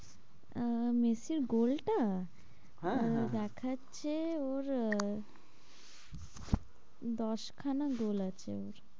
আহ মেসির গোলটা? হ্যাঁ, হ্যাঁ দেখাচ্ছে ওর আহ দশ খানা গোল আছে ওর,